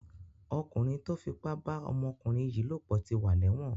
Ọkùnrin tó fipá bá ọmọkùnrin yìí lòpọ̀ ti wà lẹ́wọ̀n.